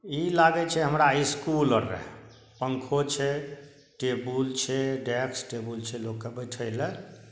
इ लागै छै हमरा स्कूल आर रहय पंखों छै टेबुल छै डायस्क टेबुल छै लोक के बैठे ले।